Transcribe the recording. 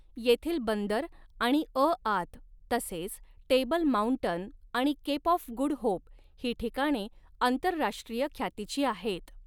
येथील बंदर आणि अआत तसेच टेबल माउंटन आणि केप ऑफ गुड होप ही ठिकाणे आंतरराष्ट्रीय ख्यातीची आहेत.